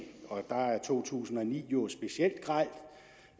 og der er to tusind og ni jo specielt grel